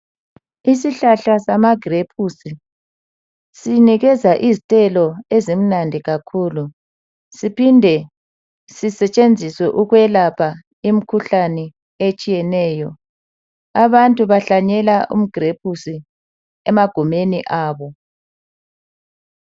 Isihlahla sama grapes sinikeza izithelo ezimnandi kakhulu siphinde sisetshenziswe ukwelapha imkhuhlane etshiyeneyo .Abantu bahlanyela ama grapes emagumeni abo .